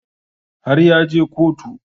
Har ya je kotu